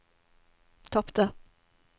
tapte